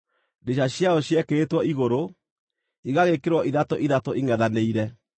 Ndirica ciayo ciekĩrĩtwo igũrũ, igagĩĩkĩrwo ithatũ ithatũ, ingʼethanĩire.